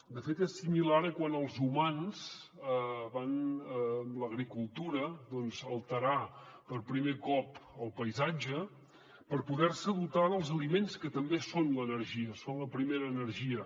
de fet és similar a quan els humans amb l’agricultura van alterar per primer cop el paisatge per poder se dotar dels aliments que també són l’energia són la primera energia